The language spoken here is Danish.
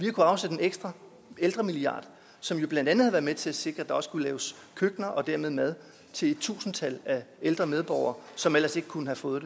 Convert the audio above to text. afsætte en ekstra ældremilliard som jo blandt andet har været med til at sikre at der også kunne laves køkkener og dermed mad til et tusindtal af ældre medborgere som ellers ikke kunne have fået